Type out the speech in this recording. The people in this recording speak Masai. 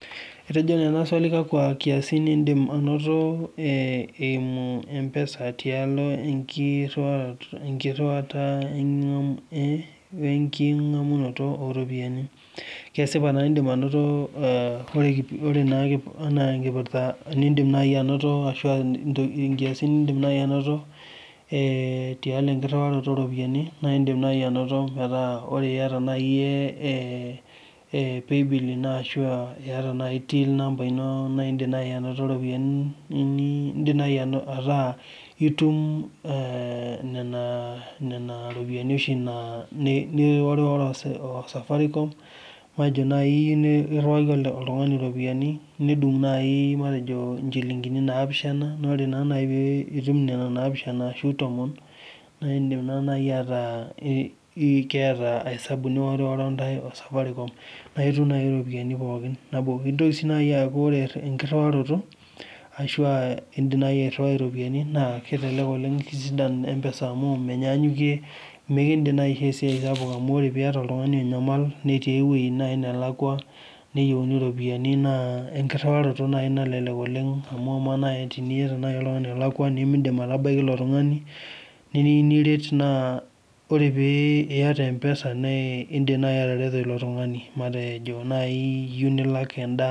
Etejo naa swali kakwa kiasin intim anoto ee eimu mpesa tialo enkiriwaroto oo enkingamunoto oropiyian. Kesipa naa idim anoto anaa inkirpita niidim naai anoto ashu aa nkiasin niidim naaji anotie tialo inkiriwato oropiyian, naa indim nai anoto metaa ore iyata naai iyie paybill ino ashu aa iyata naai til ino indim naai ataa itum ee nena ropiyiani oshi naa niworiworo osafarikom, matejo naai niriwaki oltungani iropiyiani nedung matejo injilinkini naapishana naa ore naa piitum nena naapishana ashu tomon, naa indim naai iyata hesabu niwori intae osafarikom naaitum naai iropiyiani pookin. Nitoki sii naai aaku ore enkiriwaroto ashu aa indim nai ariwai iropiyiani naa kelelek oleng',kitisidan mpesa amu menyaanyukie mikidim naai aishoo esiai sapuk amu teniyata oltungani onyamal netii nai ewoji nelakua, neyieuni iropiyiani naa enkiriwaroto naai nalelek oleng',amu ama nai teniyata oltungani olakua nimidim aitabaiki ilo tungani teyieu niret naa ore pee iyata mpesa iindim nai atareto ilo tungani matejo naai iyieu nilak endaa.